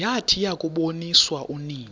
yathi yakuboniswa unina